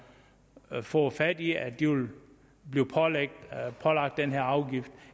fået fat i at de vil blive pålagt den her afgift